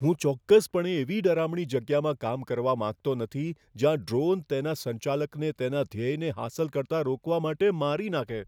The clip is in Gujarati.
હું ચોક્કસપણે એવી ડરામણી જગ્યામાં કામ કરવા માંગતો નથી જ્યાં ડ્રોન તેના સંચાલકને તેના ધ્યેયને હાંસલ કરતા રોકવા માટે મારી નાખે.